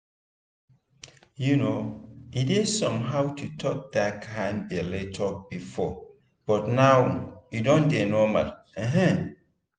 um e dey somehow to talk that kind belle talk before but now e don dey normal. um